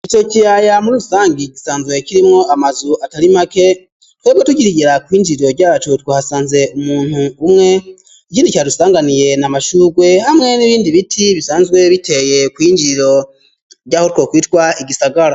Ico kiyaya muri rusangi gisanzwe kirimwo amazu atari make twebwe tukigera kw'injiriro ryacu twahasanze umuntu umwe ikindi cadusanganiye na mashurwe hamwe n'ibindi biti bisanzwe biteye kw'injiro ryaho twokwitwa igisagara.